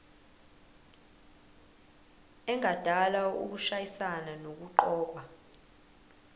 engadala ukushayisana nokuqokwa